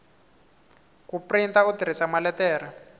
ku printa u tirhisa maletere